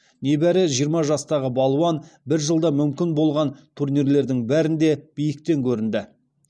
небәрі жиырма жастағы балуан бір жылда мүмкін болған турнирлердің бәрінде биіктен көрінді